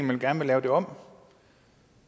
vil gerne lave det om